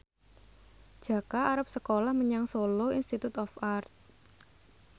Jaka arep sekolah menyang Solo Institute of Art